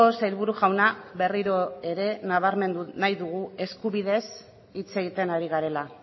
sailburu jauna berriro ere nabarmendu nahi dugu eskubidez hitz egiten ari garela